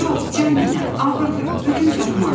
Yox, can nənə, ağırdır, gücüm çatmaz.